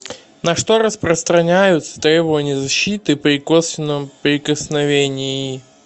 на что распространяются требования защиты при косвенном прикосновении